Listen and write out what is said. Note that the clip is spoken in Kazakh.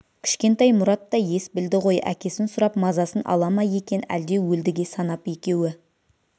кішкентай мұрат та ес білді ғой әкесін сұрап мазасын ала ма екен әлде өлдіге санап екеуі